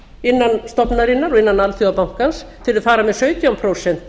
innan stofnunarinnar og innan alþjóðabankans þegar þeir fara með sautján prósent